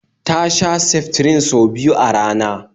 Ta sha seftrin sau biyu a rana